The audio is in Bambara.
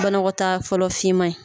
Banakɔta fɔlɔ fiman in.